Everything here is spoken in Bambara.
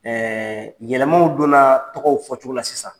yɛlɛmaw donnaa tɔgɔw fɔcogo la sisan.